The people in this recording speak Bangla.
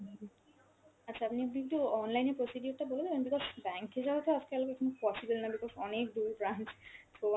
আচ্ছা আপনি আপনি একটু online এ procedure টা বলে দেবেন because bank এ যাওয়া তো আজকাল এখন possible না because অনেক দূর branch, so